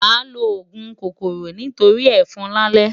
Màá lo òògùn kòkòrò nítorí ẹ̀fọn lálẹ́.